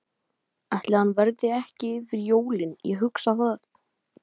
Ætli hann verði ekki yfir jólin, ég hugsa það.